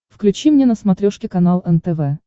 включи мне на смотрешке канал нтв